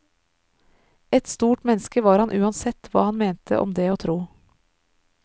Et stort menneske var han uansett hva han mente om det å tro.